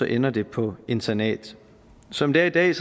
ender det på internat som det er i dag